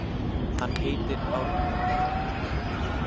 Hann heitir Árni.